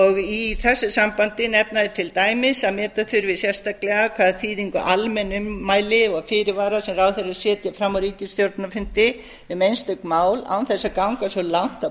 ábyrgð í þessu sambandi nefna þeir til dæmis að meta þurfi sérstaklega hvaða þýðingu almenn ummæli og fyrirvarar sem ráðherrar setja fram á ríkisstjórnarfundi um einstök mál án þess að ganga svo langt að